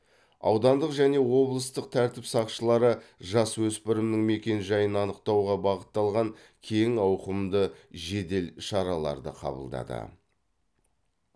аудандық және облыстық тәртіп сақшылары жасөспірімнің мекен жайын анықтауға бағытталған кең ауқымды жедел шараларды қабылдады